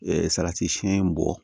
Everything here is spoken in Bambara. salati siyɛn bɔ